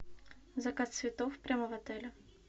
заказ цветов прямо в отеле